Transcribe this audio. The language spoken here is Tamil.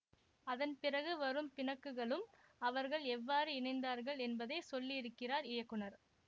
அதன்பிறகு வரும் பிணக்குகளும் அவர்கள் எவ்வாறு இணைந்தார்கள் என்பதை சொல்லியிருக்கிறார் இயக்குனர்